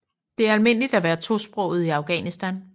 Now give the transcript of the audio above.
Det er almindeligt at være tosproget i Afghanistan